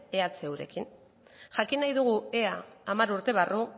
ehurekin jakin nahi dugu ea hamar urte barru